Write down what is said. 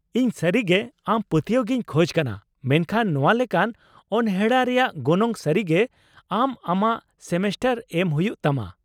ᱤᱧ ᱥᱟᱹᱨᱤᱜᱮ ᱟᱢ ᱯᱟᱹᱛᱭᱟᱹᱣ ᱜᱤᱧ ᱠᱷᱚᱡ ᱠᱟᱱᱟ , ᱢᱮᱱᱠᱷᱟᱱ ᱱᱚᱶᱟ ᱞᱮᱠᱟᱱ ᱚᱱᱦᱮᱲᱟ ᱨᱮᱭᱟᱜ ᱜᱚᱱᱚᱝ ᱥᱟᱹᱨᱤᱜᱮ ᱟᱢ ᱟᱢᱟᱜ ᱥᱮᱢᱮᱥᱴᱟᱨ ᱮᱢ ᱦᱩᱭᱩᱜ ᱛᱟᱢᱟ ᱾